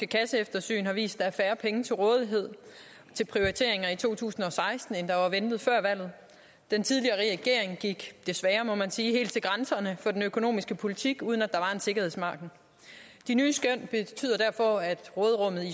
kasseeftersyn har vist er færre penge til rådighed til prioriteringer i to tusind og seksten end der var ventet før valget den tidligere regering gik desværre må man sige helt til grænserne for den økonomiske politik uden at der var en sikkerhedsmargen de nye skøn betyder derfor at råderummet i